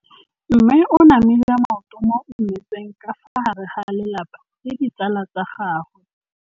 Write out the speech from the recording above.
Mme o namile maoto mo mmetseng ka fa gare ga lelapa le ditsala tsa gagwe.